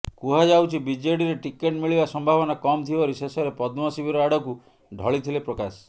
କୁହାଯାଉଛି ବିଜେଡିରେ ଟିକେଟ ମିଳିବା ସମ୍ଭାବନା କମ ଥିବାରୁ ଶେଷରେ ପଦ୍ମ ଶିବିର ଆଡକୁ ଢଳିଥିଲେ ପ୍ରକାଶ